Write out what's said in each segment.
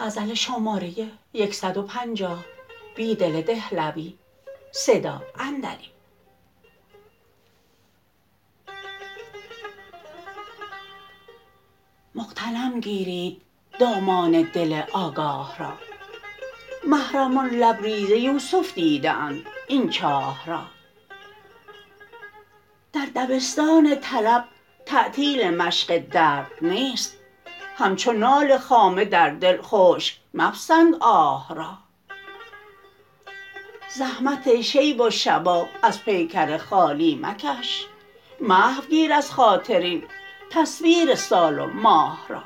مغتنم گیرید دامان دل آگاه را محرمان لبریزیوسف دیده اند این چاه را در دبستان طلب تعطیل مشق درد نیست همچونال خامه در دل خشک مپسند آه را زحمت شیب و شباب ازپیکرخالی مکش محوگیر از خاطر این تصویر سال و ماه را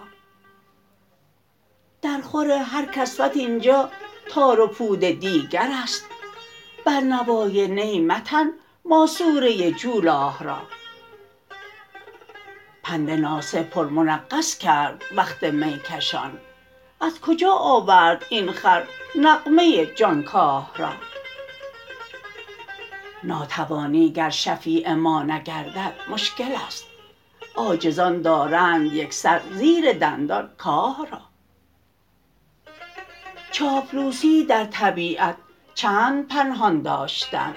درخور هرکسوت اینجا تار و پود دیگر است بر نوای نی متن ماسوره جولاه را پند ناصح پر منغص کرد وقت می کشان ازکجا آورد این خر نغمه جانکاه را ناتوانی گر شفیع ما نگردد مشکل ست عاجزان دارند یک سر زیر دندان کاه را چاپلوسی در طبیعت چند پنهان داشتن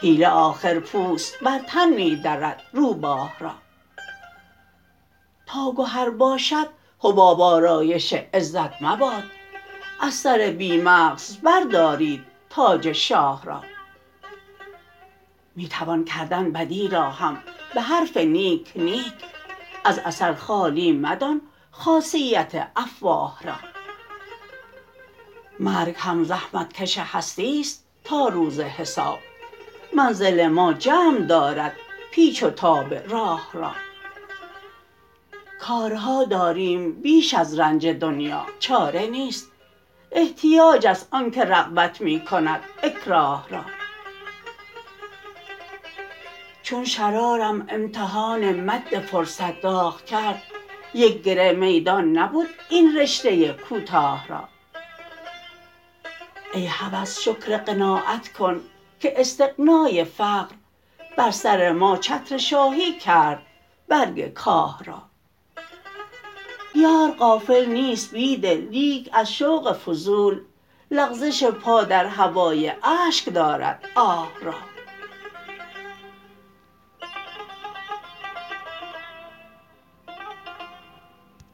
حیله آخر پوست بر تن می درد روباه را تاگهر باشد حباب آرایش عزت مباد از سر بی مغز بردارید تاج شاه را می توان کردن بدی را هم به حرف نیک نیک از اثر خالی مدان خاصیت افواه را مرگ هم زحمتکش هستی ست تاروز حساب منزل ما جمع دارد پیچ وتاب راه را کارها داریم بیش از رنج دنیا چاره نیست احتیاج است آنکه رغبت می کند اکراه را چون شرارم امتحان مد فرصت داغ کرد یک گره میدان نبود این رشته کوتاه را ای هوس شکرقناعت کن که استغنای فقر بر سر ما چتر شاهی کرد برگ کاه را یار غافل نیست بیدل لیک از شوق فضول لغزش پا در هوای اشک دارد آه را